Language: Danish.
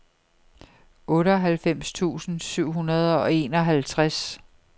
otteoghalvfems tusind syv hundrede og enoghalvtreds